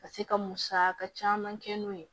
Ka se ka musaka caman kɛ n'o ye